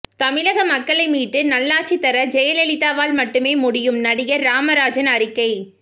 தமிழக மக்களை மீட்டு நல்லாட்சி தர ஜெயலலிதாவால் மட்டுமே முடியும் நடிகர் ராமராஜன் அறிக்கை